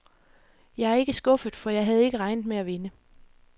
Jeg er ikke skuffet, for jeg havde ikke regnet med at vinde.